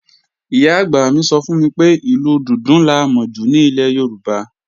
Ìyá-àgbà mi sọ fún mi pé, ìlù dùndún la mọ jù ní ilẹ̀ Yorùbá